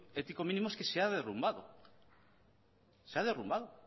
ético mínimo es que ha derrumbado se ha derrumbado